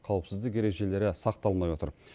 қауіпсіздік ережелері сақталмай отыр